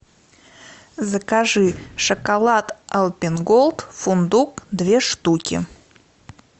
закажи шоколад альпен гольд фундук две штуки